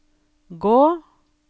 gå